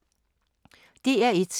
DR1